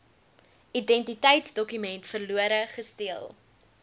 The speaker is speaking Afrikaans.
identiteitsdokument verlore gesteel